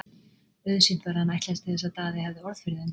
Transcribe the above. Auðsýnt var að hann ætlaðist til þess að Daði hefði orð fyrir þeim.